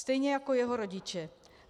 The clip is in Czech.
Stejně jako jeho rodiče.